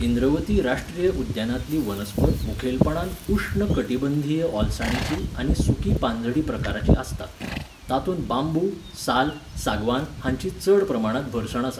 इंद्रवती राश्ट्रीय उद्यानांतली वनस्पत मुखेलपणान उश्ण कटिबंधीय ओलसाणीची आनी सुकी पानझडी प्रकारची आसता. तातूंत बांबू, साल, सागवान हांची चड प्रमाणांत भरसण आसा.